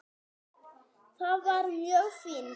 Það var mjög fínt.